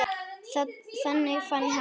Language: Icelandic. Þannig fann amma hana.